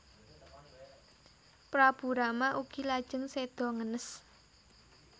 Prabu Rama ugi lajeng séda ngenes